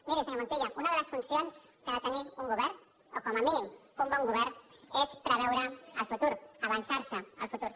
miri senyor montilla una de les funcions que ha de tenir un govern o com a mínim un bon govern és preveure el futur avançar se al futur